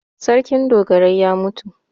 Sarkin dogarai ya mutu.